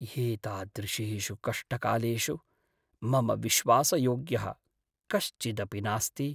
एतादृशेषु कष्टकालेषु मम विश्वासयोग्यः कश्चिदपि नास्ति।